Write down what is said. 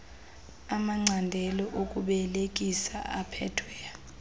amacandelo okubelekisa aphethwe